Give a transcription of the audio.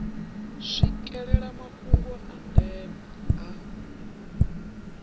swikelela mafhungo a ndeme a